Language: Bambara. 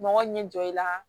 Mɔgɔ ɲɛ jɔ i la